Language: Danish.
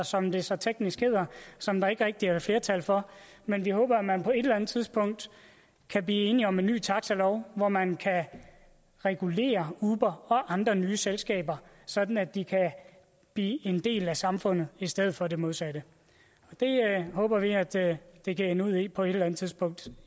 som det så teknisk hedder som der ikke rigtig er flertal for men vi håber at man på et eller andet tidspunkt kan blive enige om en ny taxalov hvor man kan regulere uber og andre nye selskaber sådan at de kan blive en del af samfundet i stedet for det modsatte det håber vi at det det kan ende ud i på et eller andet tidspunkt